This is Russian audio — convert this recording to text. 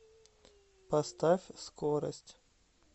поставь скорость